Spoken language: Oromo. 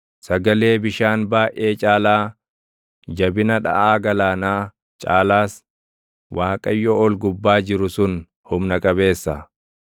Sagalee bishaan baayʼee caalaa, jabina dhaʼaa galaanaa caalaas, Waaqayyo ol gubbaa jiru sun humna qabeessa.